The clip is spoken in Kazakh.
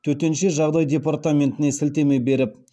төтенше жағдай департаментіне сілтеме беріп